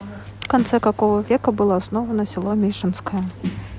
в конце какого века было основано село мишенское